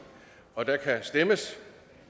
og der kan stemmes